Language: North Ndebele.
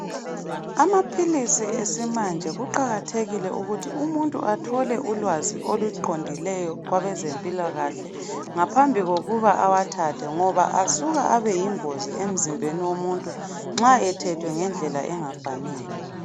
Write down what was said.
Amaphilisi esimanje kuqakathekile ukuthi umuntu athole ulwazi oluqondileyo kwabezempilakahle ngaphambikokuba awathathe ngoba asuka abeyigozi emzimbeni womuntu nxa ethethwe ngendlela engafanele.